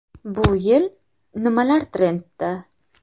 Bu yil nimalar trendda?.